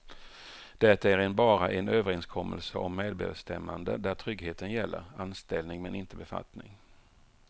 Det är en bara en överenskommelse om medbestämmande där tryggheten gäller anställning men inte befattning.